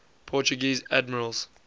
portuguese admirals